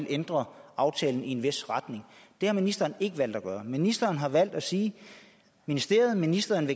ændre aftalen i en vis retning det har ministeren ikke valgt at gøre ministeren har valgt at sige at ministeriet og ministeren